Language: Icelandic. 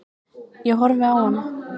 Ég horfi á hana.